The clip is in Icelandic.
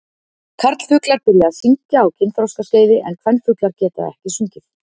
karlfuglar byrja að syngja á kynþroskaskeiði en kvenfuglar geta ekki sungið